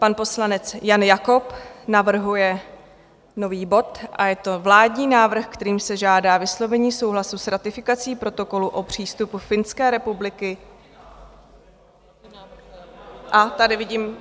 Pan poslanec Jan Jakob navrhuje nový bod a je to Vládní návrh, kterým se žádá vyslovení souhlasu s ratifikací Protokolu o přístupu Finské republiky... a tady vidím.